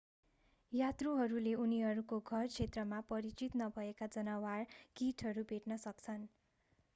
यात्रुहरूले उनीहरूको घर क्षेत्रमा परिचित नभएका जनावर कीटहरू भेट्न सक्छन्